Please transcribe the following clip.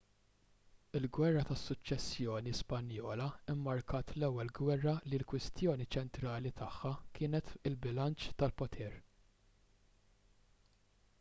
il-gwerra tas-suċċessjoni spanjola mmarkat l-ewwel gwerra li l-kwistjoni ċentrali tagħha kienet il-bilanċ tal-poter